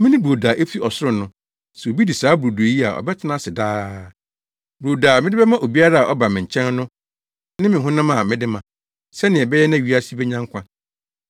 Mene brodo a efi ɔsoro no; sɛ obi di saa brodo yi a ɔbɛtena ase daa. Brodo a mede bɛma obiara a ɔba me nkyɛn no ne me honam a mede ma, sɛnea ɛbɛyɛ na wiase benya nkwa.”